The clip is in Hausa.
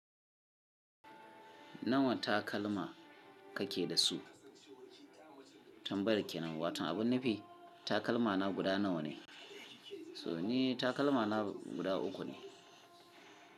Nawa takalma kake da su? Tambayar ke nan, watan abun nufi takalma na guda nawa ne? So ni takalma na guda uku ne.